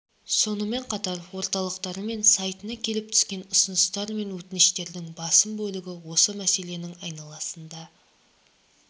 сонымен қатар орталықтары мен сайтына келіп түскен ұсыныстар мен өтініштердің басым бөлігі осы мәселенің айналасында